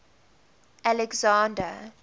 alexander